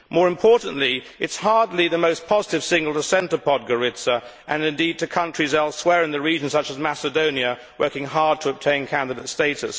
More importantly, it is hardly the most positive signal to send to Podgorica, or indeed to countries elsewhere in the region, such as Macedonia, working hard to obtain candidate status.